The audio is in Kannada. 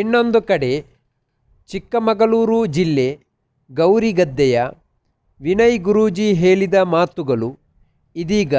ಇನ್ನೊಂದು ಕಡೆ ಚಿಕ್ಕಮಗಳೂರು ಜಿಲ್ಲೆ ಗೌರಿಗದ್ದೆಯ ವಿನಯ್ ಗುರೂಜಿ ಹೇಳಿದ ಮಾತುಗಳು ಇದೀಗ